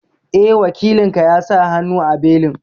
Eh, Wakilin ka ya sa hannu a belin